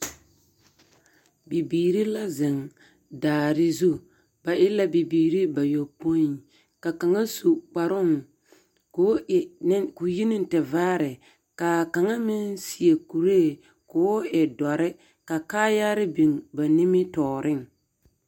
Bibiiri la zeŋ daare zu, ba e la bibiiri bayopoi, ka kaŋa su kparooŋ k'o yi neŋ tevaare, ka kaŋa meŋ seɛ kuree k'o e dɔre ka kaayaare biŋ ba nimitɔɔreŋ. 13365